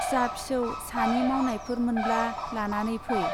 फिसा-फिसौ सानि मावनायफोर मोनब्ला लानानै फै ।